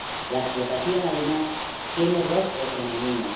La explotación, además, tiene rostro femenino.